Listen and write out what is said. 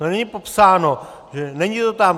To není popsáno, není to tam.